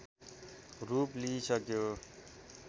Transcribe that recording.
रूप लिइसक्यो